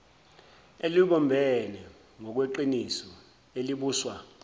elibumbene ngokweqiniso elibuswa